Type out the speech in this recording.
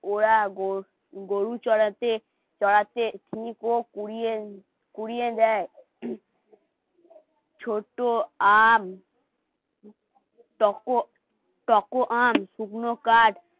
ওরা গরু চরাতে চড়াতে নিব পুরীর পুড়িয়ে দেয় ছোট আম টকো. টকো আম, শুকনো কার্ড আর